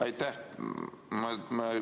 Aitäh!